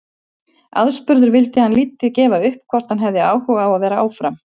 Aðspurður vildi hann lítið gefa upp um hvort hann hefði áhuga á að vera áfram.